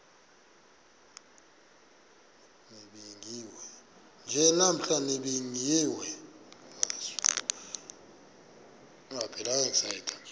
nje namhla nibingiwe